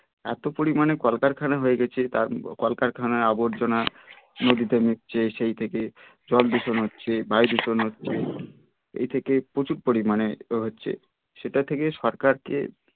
এতো পরিমানে কলকারখানা হয়ে গেছে কলকারখানার আবর্জনা নদীতে মিশছে সেই থেকে জল দূষণ হচ্ছে বায়ু দূষণ হচ্ছে এই থেকে প্রচুর পরিমানে হচ্ছে সেটা থেকে সরকার কে